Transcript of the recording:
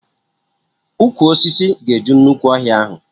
Ụkwụ osisi ga-eju nnukwu ọhịa ahụ